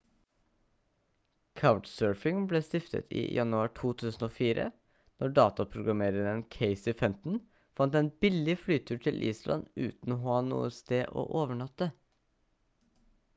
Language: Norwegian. couchsurfing ble stiftet i januar 2004 når dataprogrammereren casey fenton fant en billig flytur til island uten å ha noe sted å overnatte